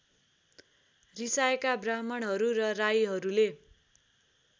रिसाएका ब्राह्मणहरू र राईहरूले